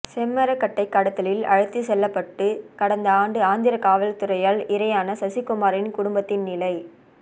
செம்மரக்கட்டை கடத்தலில் அழைத்துச்செல்லப்பட்டு கடந்த ஆண்டு ஆந்திர காவல்துறையால் இரையான சசிகுமாரின் குடும்பத்தின் நிலை